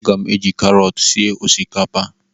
A ga m eji karọt sie osikapa